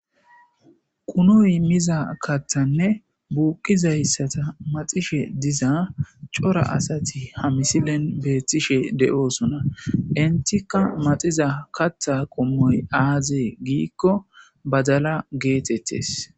qunoy miza kathanne buuqizayssata maxishe diza cora asati ha misilen beethtishe de7oosona intikka maxiza katha qommoy aazee giikko badala geetettes